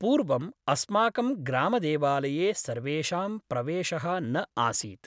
पूर्वम् अस्माकं ग्रामदेवालये सर्वेषां प्रवेशः न आसीत् ।